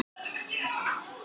Hvorugt var gert.